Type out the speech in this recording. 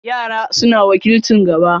Yara suna wakilcin gaba.